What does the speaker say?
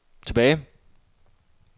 tilbage